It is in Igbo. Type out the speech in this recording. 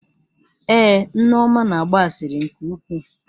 Èé, Nneoma na-agba asịrị nke ukwuu.